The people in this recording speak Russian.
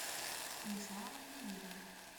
станислава емелина